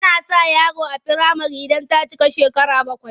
Ana sa yaro a firamare idan ta cika shekara bakwai.